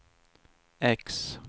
X